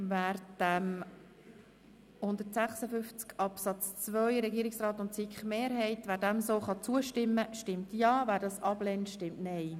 Wer den Artikel 176 Absatz 2 in seiner nun vorliegenden Form annimmt, stimmt Ja, wer dies ablehnt, stimmt Nein.